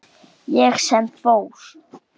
Ég sem fór.